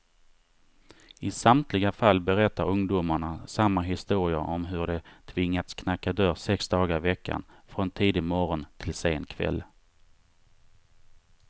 I samtliga fall berättar ungdomarna samma historia om hur de tvingats knacka dörr sex dagar i veckan, från tidig morgon till sen kväll.